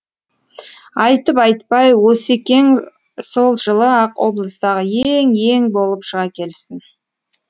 айтып айтпай осекең сол жылы ақ облыстағы ең ең болып шыға келсін